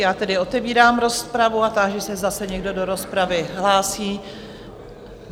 Já tedy otevírám rozpravu a táži se, zase někdo do rozpravy hlásí?